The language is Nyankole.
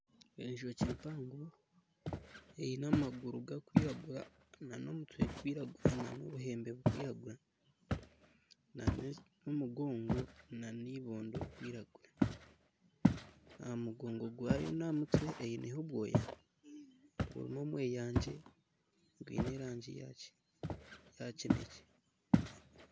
Enjoki mpango eine amaguru ga kwiragura na nomutwe guri kwiragura na n'obuhembe buri kwiragura n'omugongo nibodo biri kwiragura. Ahamugongo gwayo naha mutwe eineho obwoya burimu omweyangye gwine erangi ya kinekye.